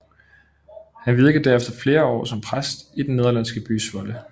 Han virkede derefter flere år som præst i den nederlandsky by Zwolle